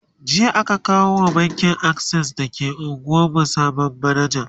jiya aka kawo wa bankin akses da ke unguwan mu sabon manaja